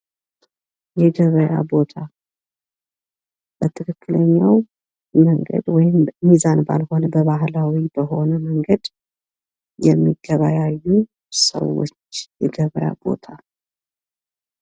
የገበያ ቦታ በትክክለኛው ሚዛን ባልሆነ በባህላዊ በሆነ መንገድ የሚገበያዩ ሰዎች የገበያ ቦታ ::